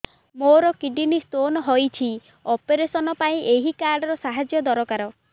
ମୋର kidney stone ହଇଛି operation ପାଇଁ ଏହି କାର୍ଡ ର ସାହାଯ୍ୟ ଦରକାର